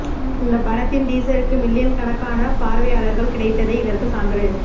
இந்த படத்தின் டீசருக்கு மில்லியன் கணக்கான பார்வையாளர்கள் கிடைத்ததே இதற்கு சான்று